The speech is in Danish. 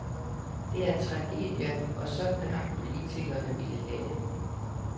Det er en tragedie, og sådan har politikerne villet have det.